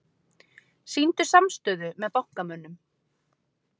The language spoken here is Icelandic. Sýndu samstöðu með bankamönnum